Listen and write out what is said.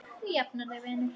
Þú jafnar þig vinur.